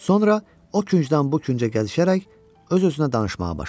Sonra o küncdən bu küncə gəzişərək öz-özünə danışmağa başladı.